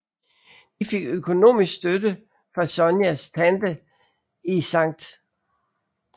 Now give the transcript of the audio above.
De fik økonomisk støtte fra Sonias tante i Skt